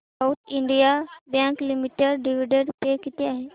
south Indian Bank Limited dividend pay किती आहे